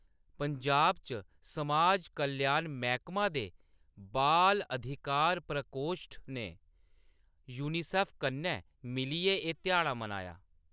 पंजाब च समाज कल्याण मैह्‌‌‌कमा दे बाल अधिकार प्रकोश्ठ ने यूनिसेफ कन्नै मिलियै एह्‌‌ ध्याड़ा मनाया।